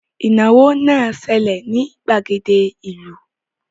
Ìnáwó náà ń ṣẹlẹ̀ ní ìgbàgede ìlú